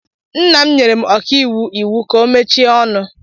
Nna m nyere ọkaiwu iwu ka ọ mechie ọnụ.